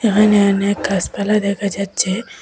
এখানে অনেক গাসপালা দেখা যাচ্ছে।